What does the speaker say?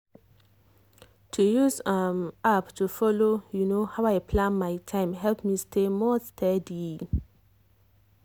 to use um app to follow um how i plan my time help me stay more steady.